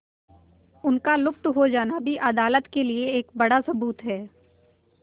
उनका लुप्त हो जाना भी अदालत के लिए एक बड़ा सबूत है